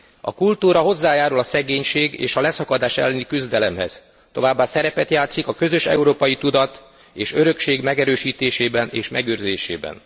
A kultúra hozzájárul a szegénység és a leszakadás elleni küzdelemhez, továbbá szerepet játszik a közös európai tudat és örökség megerősítésében és megőrzésében.